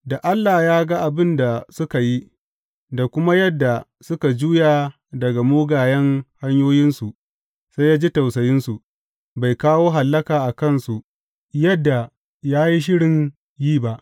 Da Allah ya ga abin da suka yi, da kuma yadda suka juya daga mugayen hanyoyinsu sai ya ji tausayinsu, bai kawo hallaka a kansu yadda ya yi shirin yi ba.